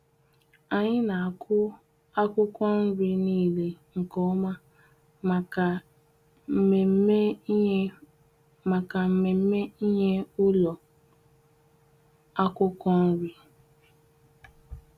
Anyi n'aku akwụkwọ nriị niile nke ọma maka mmemme inye maka mmemme inye ụlọ akwụkwọ nri.